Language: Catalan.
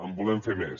en volem fer més